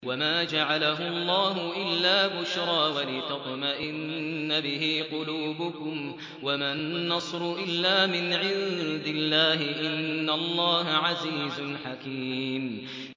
وَمَا جَعَلَهُ اللَّهُ إِلَّا بُشْرَىٰ وَلِتَطْمَئِنَّ بِهِ قُلُوبُكُمْ ۚ وَمَا النَّصْرُ إِلَّا مِنْ عِندِ اللَّهِ ۚ إِنَّ اللَّهَ عَزِيزٌ حَكِيمٌ